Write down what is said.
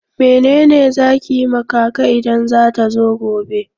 Mene ne za ki yi ma kaka idan ta zo gobe?